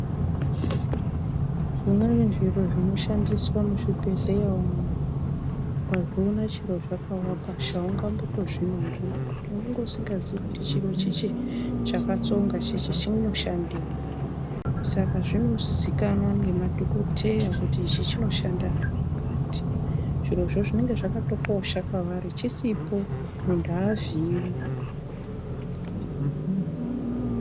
Zvimweni zviro zvinoshandiswa muzvibhehleya umwu ukazviona chero zvakawa pashi haungambotozvinongi ngekuti unonga usingazii kuti chiro chichi chakatsonga chichi chinoshandei, Saka zvinozikanwa nemadhokoteya kuti ichi chinoshanda zvakati. Zvirozvo zvinenge zvakatokosha kwavari chisipo muntu avhiiwi.